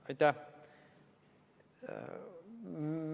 Aitäh!